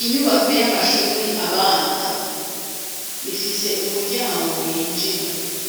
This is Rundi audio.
Inyubako y'amashure abanza ifise umuryango winjira